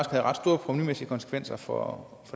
havde ret store provenumæssige konsekvenser for